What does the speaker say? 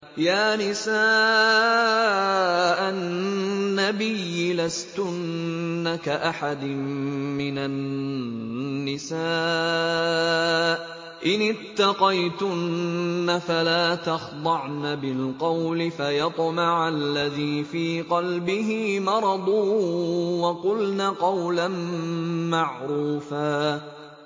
يَا نِسَاءَ النَّبِيِّ لَسْتُنَّ كَأَحَدٍ مِّنَ النِّسَاءِ ۚ إِنِ اتَّقَيْتُنَّ فَلَا تَخْضَعْنَ بِالْقَوْلِ فَيَطْمَعَ الَّذِي فِي قَلْبِهِ مَرَضٌ وَقُلْنَ قَوْلًا مَّعْرُوفًا